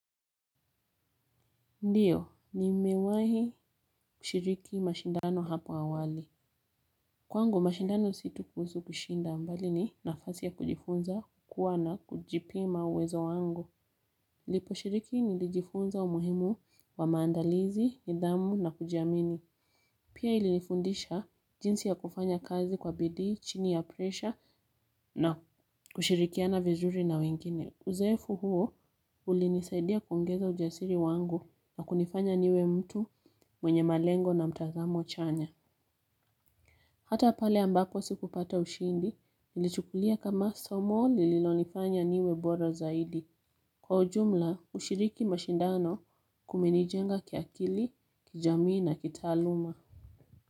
Ndiyo nimewai kushiriki mashindano hapo awali. Kwangu mashindano situkusu kushinda mbali ni nafasi ya kujifunza, kukua na kujipima uwezo wangu. Lipo shiriki nilijifunza umuhimu wa maandalizi, nidhamu na kujiamini. Pia ilifunindisha jinsi ya kufanya kazi kwa bidi, chini ya presha na kushirikiana vizuri na wengine. Uzoefu huo ulinisaidia kuongeza ujasiri wangu na kunifanya niwe mtu mwenye malengo na mtazamo chanya. Hata pale ambapo sikupata ushindi nilichukulia kama somo lililo nifanya niwe bora zaidi. Kwa ujumla, ushiriki mashindano kumenijenga kiakili, kijamii na kitaaluma.